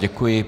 Děkuji.